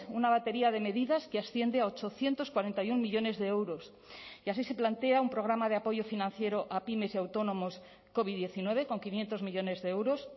una batería de medidas que asciende a ochocientos cuarenta y uno millónes de euros y así se plantea un programa de apoyo financiero a pymes y autónomos covid diecinueve con quinientos millónes de euros